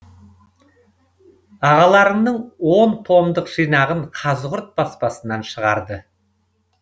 ағаларыңның он томдық жинағын қазығұрт баспасынан шығарды